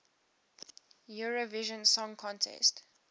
eurovision song contest